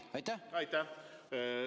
Aitäh!